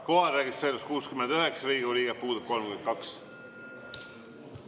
Kohalolijaks registreerus 69 Riigikogu liiget, puudub 32.